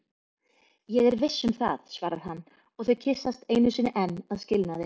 Ég er viss um það, svarar hann og þau kyssast einu sinni enn að skilnaði.